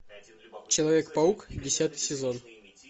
человек паук десятый сезон